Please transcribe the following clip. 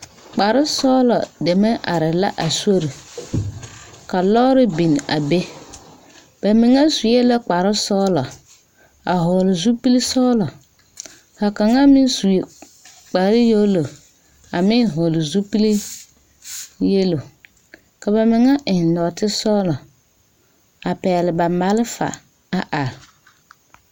Kparesɔglɔ deme arɛɛ la a sori ka lɔɔre biŋ a be ba mine sue la kparesɔglɔ a hɔgle zupili sɔglɔ ka kaŋ meŋ su kpareyɛlo a meŋ hɔgle zupiliyɛlo ka ba mine eŋ nɔɔtesɔglɔ a pɛgle ba malfa a are.